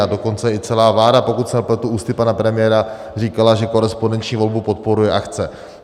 A dokonce i celá vláda, pokud se nepletu, ústy pana premiéra říkala, že korespondenční volbu podporuje a chce.